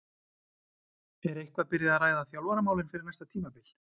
Er eitthvað byrjað að ræða þjálfaramálin fyrir næsta tímabil?